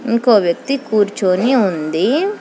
ఇంకో వ్యక్తి కూర్చొని ఉంది.